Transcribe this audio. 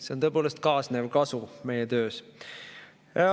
See oli tõepoolest meie tööga kaasnev kasu.